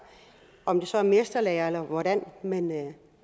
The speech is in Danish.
om det så er mesterlære eller hvordan men at